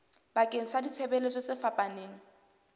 bakeng sa ditshebeletso tse fapaneng